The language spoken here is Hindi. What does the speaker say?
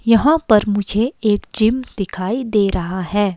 यहाँ पर मुझे एक जिम दिखाई दे रहा है।